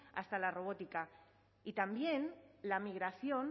hasta la robótica y también la migración